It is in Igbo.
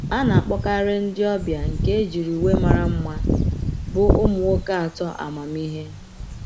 A na-akpọkarị ndị ọbịa nke ejiri uwe mara mma bụ ụmụ nwoke atọ amamihe.